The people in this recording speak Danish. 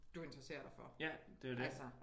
Du interesserer dig for altså